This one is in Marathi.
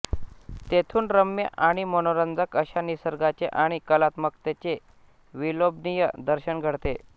तेथून रम्य आणि मनोरंजक अशा निसर्गाचे आणि कलात्मकतेचे विलोभनीय दर्शन घडते